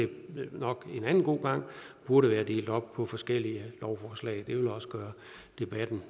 nok at det en anden god gang burde være delt op i forskellige lovforslag det vil også gøre debatten